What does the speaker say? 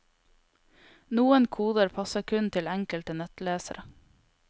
Noen koder passer kun til enkelte nettlesere.